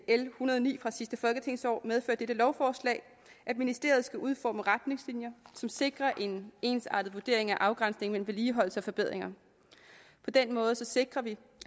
l en hundrede og ni fra sidste folketingsår medfører dette lovforslag at ministeriet skal udforme retningslinjer som sikrer en ensartet vurdering af afgrænsningen mellem vedligeholdelse og forbedringer på den måde sikrer vi